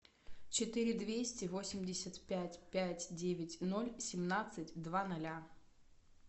четыре двести восемьдесят пять пять девять ноль семнадцать два ноля